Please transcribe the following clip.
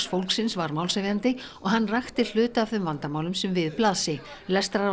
fólksins var málshefjandi og hann rakti hluta af þeim vandamálum sem við blasi